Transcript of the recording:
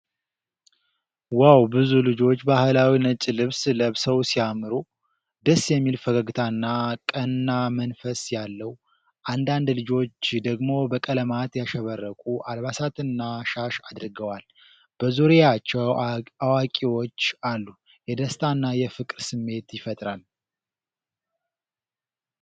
ዋው! ብዙ ልጆች ባህላዊ ነጭ ልብስ ለብሰው ሲያምሩ! ደስ የሚል ፈገግታና ቀና መንፈስ ያለው ፤ አንዳንድ ልጆች ደግሞ በቀለማት ያሸበረቁ አልባሳትና ሻሽ አድርገዋል። በዙሪያቸው አዋቂዎች አሉ። የደስታና የፍቅር ስሜት ይፈጥራል።